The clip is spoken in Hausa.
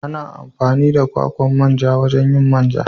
Ana amfani da kwakwan manja wajen yin man ja.